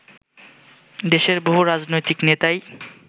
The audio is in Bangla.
দেশের বহু রাজনৈতিক নেতাই